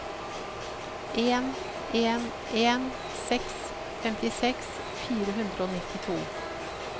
en en en seks femtiseks fire hundre og nittito